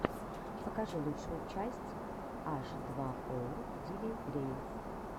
покажи лучшую часть аш два оу дилириэс